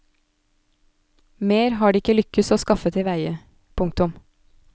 Mer har det ikke lykkes å skaffe tilveie. punktum